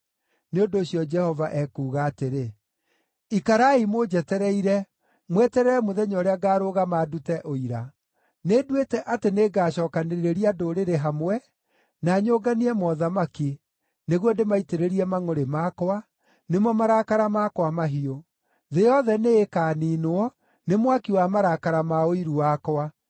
Nĩ ũndũ ũcio Jehova ekuuga atĩrĩ, “Ikarai mũnjetereire, mweterere mũthenya ũrĩa ngaarũgama ndute ũira. Nĩnduĩte atĩ nĩngacookanĩrĩria ndũrĩrĩ hamwe, na nyũnganie mothamaki, nĩguo ndĩmaitĩrĩrie mangʼũrĩ makwa, nĩmo marakara makwa mahiũ. Thĩ yothe nĩĩkaniinwo nĩ mwaki wa marakara ma ũiru wakwa.